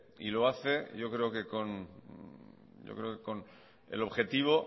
y lo hace yo creo que con el objetivo